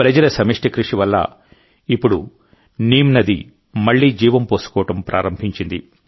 ప్రజల సమష్టి కృషి వల్ల ఇప్పుడు నీమ్ నదిమళ్లీ జీవం పోసుకోవడం ప్రారంభించింది